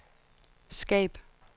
skab